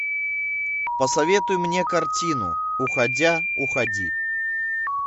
посоветуй мне картину уходя уходи